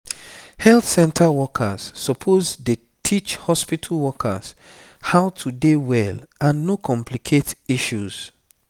health center workers suppose dey teach hospitu workers how to dey well and no complicate issues